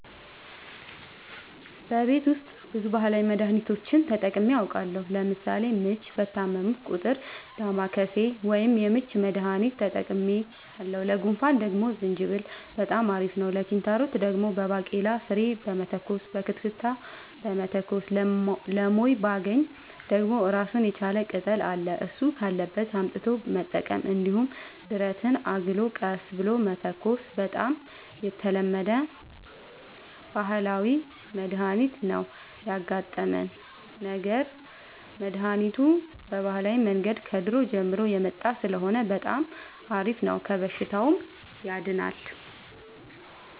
በቤት ውስጥ ብዙ ባህላዊ መድሀኒቶችን ተጠቅሜ አውቃለሁ ለምሳሌ ምች በታመምሁ ጊዜ ዳማከሴ ወይም የምች መድሀኒት ተጠቅሜያለሁ ለጉንፋን ደግሞ ዝንጅብል በጣም አሪፍ ነው ለኪንታሮት ደግሞ በባቄላ ፍሬ መተኮስ በክትክታ መተኮስ ለሞይባገኝ ደግሞ እራሱን የቻለ ቅጠል አለ እሱ ካለበት አምጥቶ መጠቀም እንዲሁም ብረትን አግሎ ቀስ ብሎ መተኮስ በጣም የተለመደ ባህላዊ መድሀኒት ነው ያጋጠመን ነገር መድሀኒቱ በባህላዊ መንገድ ከድሮ ጀምሮ የመጣ ስለሆነ በጣም አሪፍ ነው ከበሽታውም ያድናል።